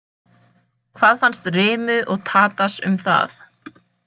Hvað fannst Rimu og Tadas um það?